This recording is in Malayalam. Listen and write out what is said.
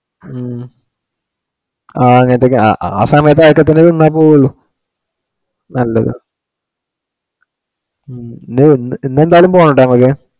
ഉം ആ അങ്ങോട്ടേക്ക് ആ സമയത്തു നിന്നെ പോവുള്ളു നല്ലതാ ഹും ഇന്നെന്തായാലും പോണേട്ടോ നമക്ക്.